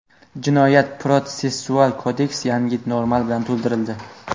Jinoyat-protsessual kodeks yangi norma bilan to‘ldirildi.